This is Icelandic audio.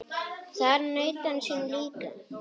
Þar naut hann sín líka.